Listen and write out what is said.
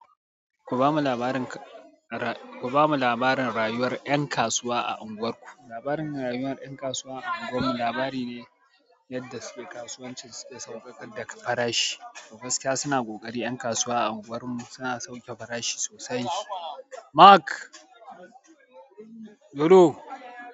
Ku bamu labarin ra-ku bamu labarin rayuwar 'yan kasuwa a unguwarku. Labarin rayuwa da yan kasuwa a unguwar mu labari ne yadda su ke kasuwancin su ke sauƙaƙa da farashi. Gaskiya suna ƙoƙari yan kasuwa a unguwar mu suna sauƙe farashi sosai. Mark! Lolo!